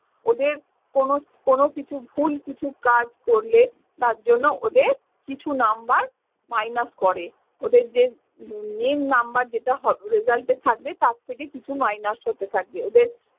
ওদের কোনো কোনো কিছু ভুল কিছু কাজ করলে তার জন্য ওদের কিছু number minus ক'রে ওদের যে উম main number যেটা result এ থাকবে, তার থেকে কিছু minus হতে থাকবে। ওদের